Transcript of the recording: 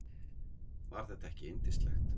Var þetta ekki yndislegt?